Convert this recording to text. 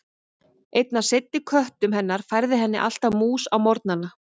Einn af seinni köttum hennar færði henni alltaf mús á morgnana.